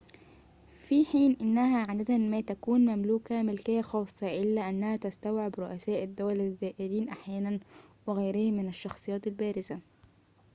في حين أنها عادة ما تكون مملوكة ملكية خاصة ، إلا أنها تستوعب رؤساء الدول الزائرين أحياناً وغيرهم من الشخصيات البارزة